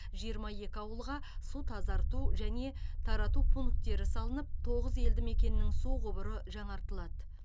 жиырма екі ауылға су тазарту және тарату пункттері салынып тоғыз елді мекеннің су құбыры жаңартылады